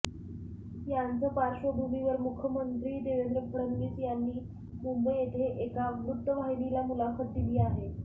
याचं पार्श्वभूमीवर मुखमंत्री देवेंद फडणवीस यांनी मुंबई येथे एका वृत्तवाहिनीला मुलाखत दिली आहे